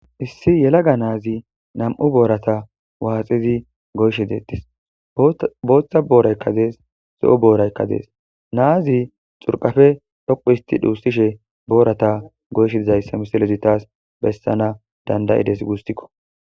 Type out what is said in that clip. Issi yelaga naazi na'mu boorata waaxizi goyshe deettes booththa booraykka dees zo'o booraykka dees naazi xurqafe dhoqu isti dhuussishe boorata goyshe dizayssa misilezi taas bessana dandayides gusikko